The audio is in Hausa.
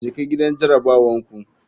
Jeka gidan jarabawar ku.